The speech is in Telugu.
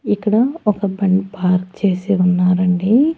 ఇక్కడ ఒక బండి పార్క్ చేసి ఉన్నారండి.